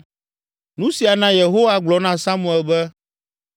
Nu sia na Yehowa gblɔ na Samuel be,